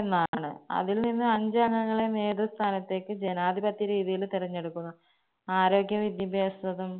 എന്നാണ്. അതിൽനിന്ന് അഞ്ച് അംഗങ്ങളെവേറൊരു സ്ഥാനത്തേക്ക് ജനാധിപത്യ രീതിയില് തെരഞ്ഞെടുക്കുന്നു. ആരോഗ്യ വിദ്യാഭാസവും